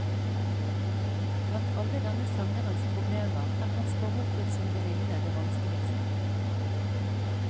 Blant alle denne sangerens problemer er hans forhold til sin venninne det vanskeligste.